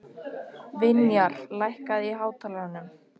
Vinjar, lækkaðu í hátalaranum.